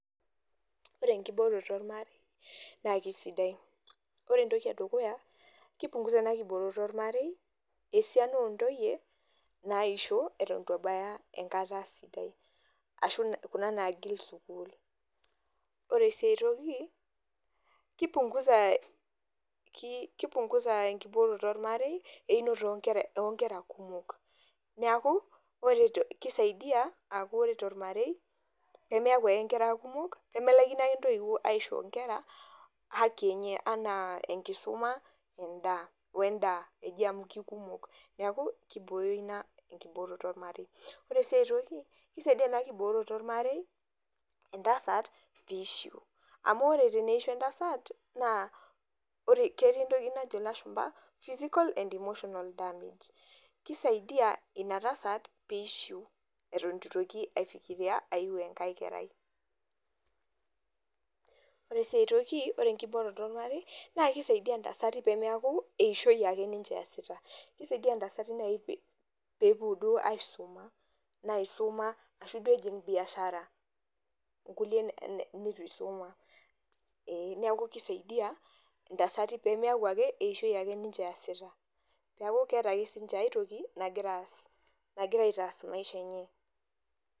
oree enkibooroto ormarei naa kesidai ore entoiki ee dukuya kei punguza ena kibooroto ormarei esiana oo ntoyie naisho eton enkataa sidai ashuu kuna naagil sukul ore sii aiytoki kei punguza enkibooroto ormarei einoto oo nkera kumok neeku ore keisaidia aaku ore tormarei nemeaku ake inkera kumok nemelaikino ake intoiwuo aitotio inkera haki enaa enkisuma, endaa oo endaa eji amu keikumok neeku keibooyo ina enkiboroto ormarei oree sii aitoki kesadia enaa kibooroto oormarei entasat peeishiu amu oree teneisho entasat naa ore ketii entoki najo ilashumpa physical and emotional damage keisaidia ina tasat peeshiu eton eitu etoki ai fikiria aiu enkae kerai oree sii aitoki oree enkibooroto ormarei naa keisaidia intasati peemeyaku eishoi ake ninche eeasita keisaidia intasatin nayii peepuo duoo aisuma naisuma ashuu duoo ejing' biashara inkulie neitu eisuma neeku keisaidia intasatin peemeyaku ake ake eishoi ake ninche eyasita peeku keeta ake sinche aai toki nagiraa aas nagira aitaas maisha enye.